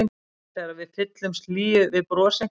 Eða þegar við fyllumst hlýju við bros einhvers.